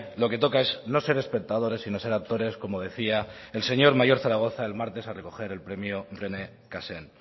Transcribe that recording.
lo que toca es no ser espectadores sino ser actores como decía el señor mayor zaragoza el martes al recoger el premio rené cassin